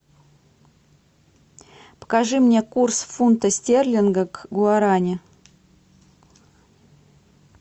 покажи мне курс фунта стерлинга к гуарани